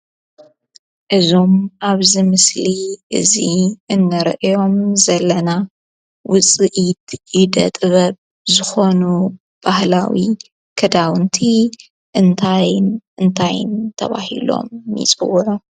እዞም አብዚ ምስሊ እዚ እንሪኦም ዘለና ውፅኢት ኢደ-ጥበብ ዝኾኑ ባህላዊ ክዳውንቲ እንታይን እንታይን ተባሂሎም ይፅውዑ?